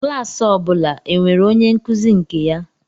Klas ọ bụla e nwere onye nkuzi nke ya